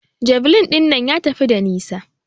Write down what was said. Javeline ɗinnan ya tafi da nisa.